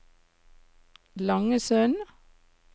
Langesund